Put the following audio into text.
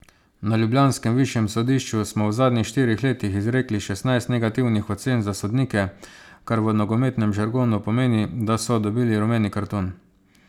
Na ljubljanskem višjem sodišču smo v zadnjih štirih letih izrekli šestnajst negativnih ocen za sodnike, kar v nogometnem žargonu pomeni, da so dobili rumeni karton.